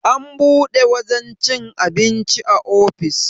an buɗe wajen cin abinci a ofis